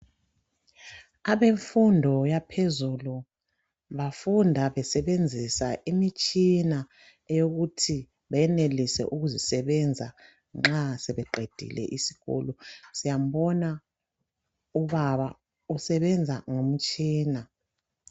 Abemfundo yaphezulu bafunda besenzisa imitshina yokuthi benelise ukuzisebenza nxa sebeqedile isikolo siyabona ubaba usebenza ngomtshina.